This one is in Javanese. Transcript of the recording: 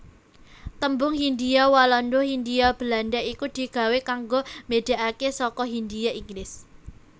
Tembung Hindhia Walanda Hindia Belanda iku digawé kanggo mbedakake saka hindhia Inggris